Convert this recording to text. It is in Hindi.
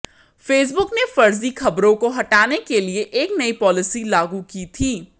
फेसबुक ने फर्जी खबरों को हटाने के लिए एक नई पॉलिसी लागू की थी